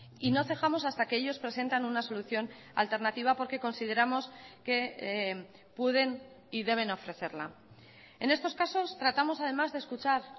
y no cejamos hasta que ellos presentan una solución alternativa porque consideramos que pueden y deben ofrecerla en estos casos tratamos además de escuchar